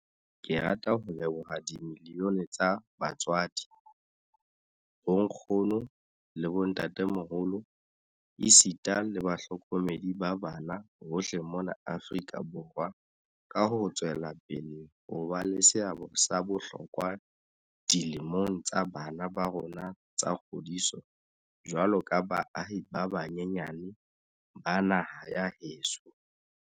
Ke rata ho leboha dimiliyone tsa batswadi, bonkgono le bo ntatemoholo esita le bahlokomedi ba bana hohle mona Afrika Borwa ka ho tswela pele ho ba le seabo sa bohlokwa dilemong tsa bana ba rona tsa kgodiso jwaloka baahi ba banyenyane ba naha ya heso.